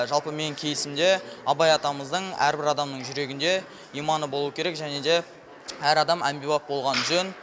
жалпы менің кейсімде абай атамыздың әрбір адамның жүрегінде иманы болуы керек және де әр адам әмбебап болғаны жөн